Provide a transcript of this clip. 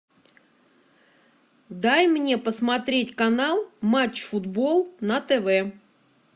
дай мне посмотреть канал матч футбол на тв